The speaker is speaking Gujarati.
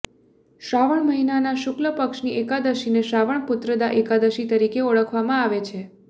શ્રાવણ મહિનાના શુક્લ પક્ષની એકાદશીને શ્રાવણ પુત્રદા એકાદશી તરીકે ઓળખવામાં આવે છે